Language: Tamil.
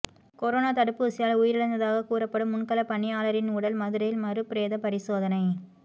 கொரோனா தடுப்பூசியால் உயிரிழந்ததாக கூறப்படும் முன்களப் பணியாளரின் உடல் மதுரையில் மறுபிரேத பரிசோதனை